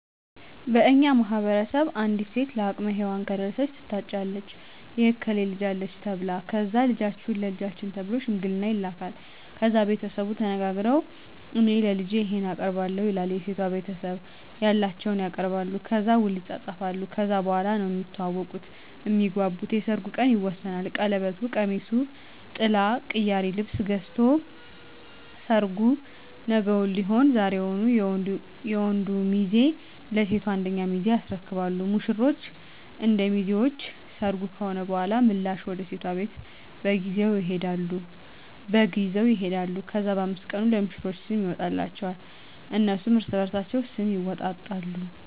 በእኛ ማህበረሰብ አንዲት ሴት ለአቅመ ሄዋን ከደረሰች ትታጫለች የእከሌ ልጅ አለች ተብላ ከዛ ልጃችሁን ለልጃችን ተብሎ ሽምግልና ይላካል። ከዛ ቤተሰቡ ተነጋግረዉ እኔ ለልጄ ይሄን አቀርባለሁ ይላል የሴቷ ቤተሰብም ያላቸዉን ያቀርባሉ። ከዛ ዉል ይፃፃፋሉ ከዛ በኋላ ነዉ እሚተዋወቁት (እሚግባቡት) የሰርጉ ቀን ይወሰናል ቀለበቱ፣ ቀሚሱ፣ ጥላ፣ ቅያሪ ልብስ ገዝቶ ሰርጉ ነገዉን ሊሆን ዛሬዉን የወንዱ ሚዜ ለሴቷ አንደኛ ሚዜ ያስረክባሉ። ሙሽሮች እና ሚዜዎች ሰርጉ ከሆነ በኋላ ምላሽ ወደ ሴቷ ቤት በግ ይዘዉ ይሄዳሉ። ከዛ በ5 ቀኑ ለሙሽሮች ስም ይወጣላቸዋል እነሱም እርስበርሳቸዉ ስም ይወጣጣሉ።